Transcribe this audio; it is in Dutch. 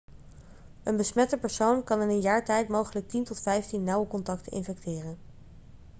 een besmette persoon kan in een jaar tijd mogelijk 10 tot 15 nauwe contacten infecteren